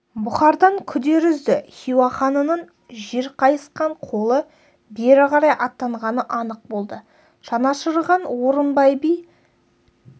бұхардан күдер үзді хиуа ханының жер қайысқан қолы бері қарай аттанғаны анық болды жанашырған орынбай би